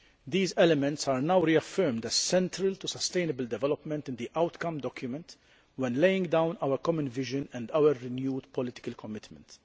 These elements are now reaffirmed as central to sustainable development and the outcome document when laying down our common vision and our renewed political commitment.